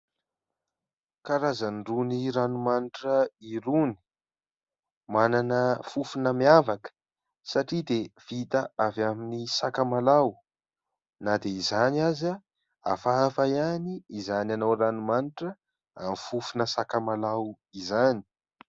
Karazana irony ranomanitra irony manana fofona miavaka satria dia vita avy amin'ny sakamalaho na dia izany aza hafahafa ihany izany anao ranomanitra amin'ny fofona sakamalaho izany.